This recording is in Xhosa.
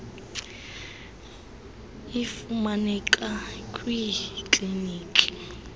iud ifumaneka kwiikliniki